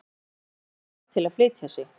Ólafur fékk bát til að flytja sig.